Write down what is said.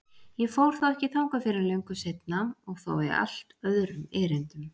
Ég fór þó ekki þangað fyrr en löngu seinna og þá í allt öðrum erindum.